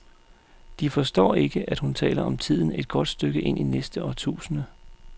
De forstår ikke, at hun taler om tiden et godt stykke inde i næste årtusinde.